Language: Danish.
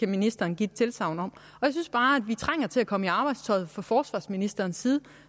ministeren give et tilsagn om jeg synes bare at vi trænger til at komme i arbejdstøjet fra forsvarsministerens side